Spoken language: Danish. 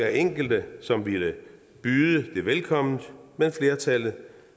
enkelte som ville byde det velkomment men flertallet